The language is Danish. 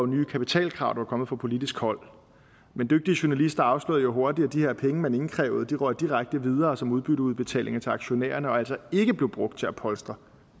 nye kapitalkrav der er kommet fra politisk hold men dygtige journalister afslørede hurtigt at de her penge man indkrævede røg direkte videre som udbytteudbetalinger til aktionærerne og blev altså ikke brugt til at polstre